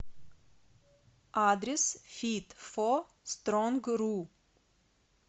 адрес фитфостронгру